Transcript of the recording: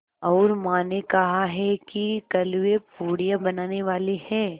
और माँ ने कहा है कि कल वे पूड़ियाँ बनाने वाली हैं